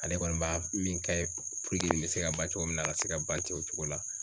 Ale kɔni b'a min kɛ puruke nin be se ka ban cogo min na a ka se ka ban ten o cogo la